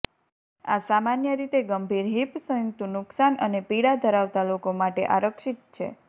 આ સામાન્ય રીતે ગંભીર હિપ સંયુક્ત નુકસાન અને પીડા ધરાવતા લોકો માટે આરક્ષિત છે